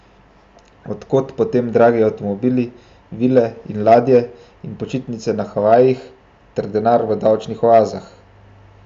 Od kod potem dragi avtomobili, vile in ladje in počitnice na Havajih ter denar v davčnih oazah?